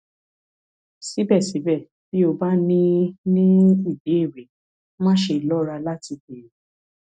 síbẹsíbẹ bí o bá ní ní ìbéèrè máṣe lọra láti béèrè